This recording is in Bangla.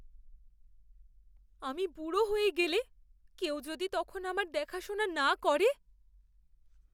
আমি বুড়ো হয়ে গেলে, কেউ যদি তখন আমার দেখাশোনা না করে?